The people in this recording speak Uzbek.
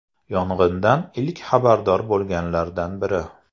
Yong‘indan ilk xabardor bo‘lganlardan biri.